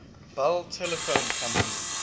bell telephone company